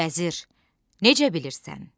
Vəzir, necə bilirsən?